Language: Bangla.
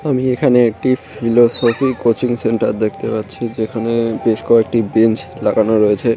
আমি এখানে একটি ফিলোসফি কোচিং সেন্টার দেখতে পাচ্ছি যেখানে বেশ কয়েকটি বেঞ্চ লাগানো রয়েছে।